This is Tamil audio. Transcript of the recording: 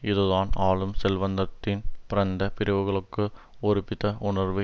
இதுதான் ஆளும் செல்வந்தத்தட்டின் பரந்த பிரிவுகளுக்குகள் ஒருமித்த உணர்வு